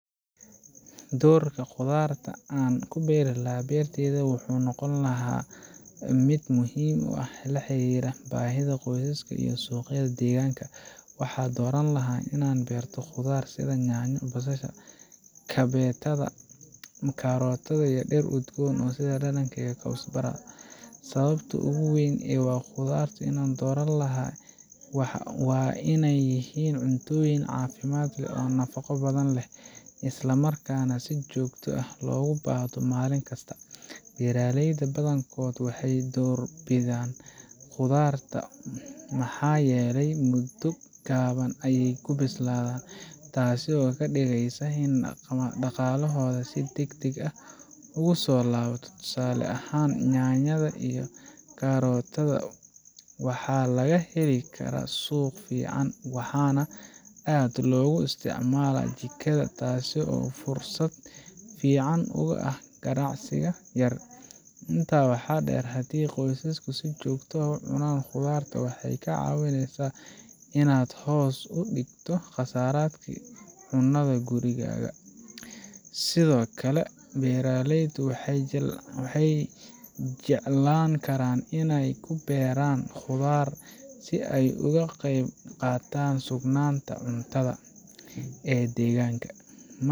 Doorka khudaarta aan ku beeri lahaa beertayda wuxuu noqon lahaa mid muhiim ah oo la xiriira baahida qoyska iyo suuqa deegaanka. Waxaan dooran lahaa inaan beerto khudaar sida yaanyo, basasha, kabeetada, karootada, iyo dhir udgoon sida dhanaanka ama kowsbara. Sababta ugu weyn ee aan khudaar u dooran lahaa waa in ay yihiin cuntooyin caafimaad leh oo nafaqo badan leh, isla markaana si joogto ah loogu baahdo maalin kasta. Beeraleyda badankood waxay doorbidaan khudaarta maxaa yeelay muddo gaaban ayay ku bislaadaan, taasoo ka dhigaysa in dhaqaalahooda si degdeg ah ugu soo laabto. Tusaale ahaan, yaanyada iyo karootada waxaa laga heli karaa suuq fiican, waxaana aad loogu isticmaalaa jikada, taasoo fursad fiican u ah ganacsi yar. Intaa waxaa dheer, haddii qoyskaaga si joogto ah u cunaan khudaar, waxay kaa caawineysaa inaad hoos u dhigto kharashaadka cunada ee gurigaaga. Sidoo kale, beeraleydu waxay jeclaan karaan inay ku beeraan khudaar si ay uga qayb qaataan sugnaanta cuntada ee deegaanka.